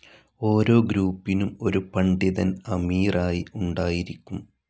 ഓരോ ഗ്രൂപ്പിനും ഒരു പണ്ഡിതൻ അമീറായി ഉണ്ടായിരിക്കും.